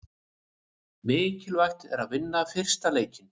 Mikilvægt að vinna fyrsta leikinn